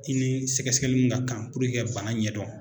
I ni sɛgɛsɛgɛliw ka kan purke ka bana ɲɛdɔn.